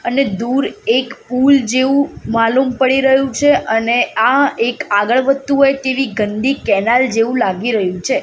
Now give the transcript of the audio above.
અને દૂર એક પૂલ જેવુ માલૂમ પડી રહ્યુ છે અને આ એક આગળ વધતુ હોઇ તેવી ગંદી કેનાલ જેવુ લાગી રહ્યુ છે.